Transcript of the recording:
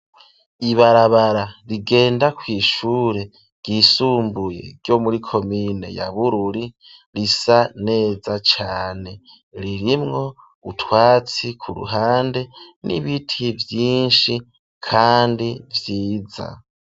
Ibarabara rigenda kw'ishure ry'isumbuye ryo muri komine ya bururi risa neza cane ririmwo utwatsi ku ruhande n'ibiti vyinshi kandi vyiza.